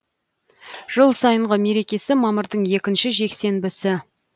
жыл сайынғы мерекесі мамырдың екінші жексенбісі